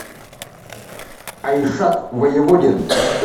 айшат воеводин